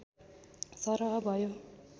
सरह भयो